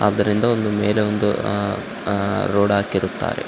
ಆದ್ದರಿಂದ ಒಂದು ಮೇಲೆ ಒಂದು ಆಹ್‌ ಆಹ್ ರೋಡ್ ಹಾಕಿರುತ್ತಾರೆ .